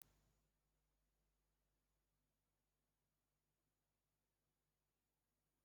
Ehi na-amụ nwa na ọ bụ nwata dị ndụ